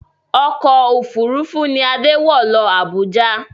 Ọkọ̀ òfuurufú ni Adé wọ̀ lọ Abuja